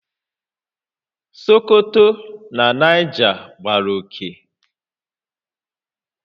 Sokoto na Niger gbàrà oké